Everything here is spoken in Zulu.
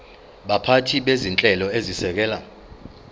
baphathi bezinhlelo ezisekela